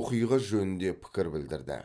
оқиға жөнінде пікір білдірді